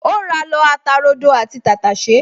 O ra lọ ata rodo àti tàtàṣẹ́